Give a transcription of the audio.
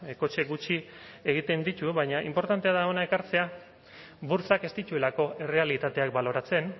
kotxe gutxi egiten ditu baina inportantea da hona ekartzea burtsak ez dituelako errealitateak baloratzen